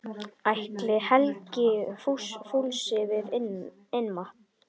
Ætli Helgi fúlsi við innmat?